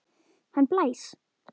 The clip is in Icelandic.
Hann blæs!